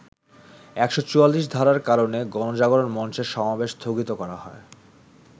১৪৪ ধারার কারণে গণজাগরণ মঞ্চের সমাবেশ স্থগিত করা হয়।